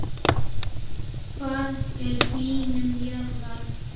Hvað er hlýnun jarðar?